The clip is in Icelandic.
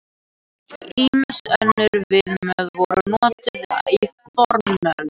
Ýmis önnur viðmið voru notuð í fornöld.